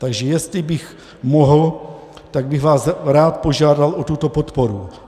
Takže jestli bych mohl, tak bych vás rád požádal o tuto podporu.